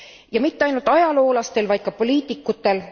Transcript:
Ja mitte ainult ajaloolastel, vaid ka poliitikutel?